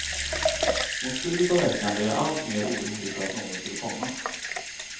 Mot slutet av veckan blev jag alltmer orolig för att någon skulle komma.